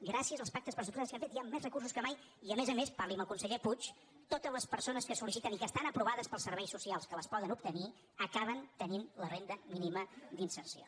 gràcies als pactes pressupostaris que hem fet hi han més recursos que mai i a més a més parli amb el conseller puig totes les persones que sol·liciten i que està aprovat pels serveis socials que les poden obtenir acaben tenint la renda mínima d’inserció